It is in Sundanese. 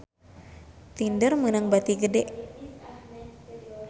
Tinder meunang bati gede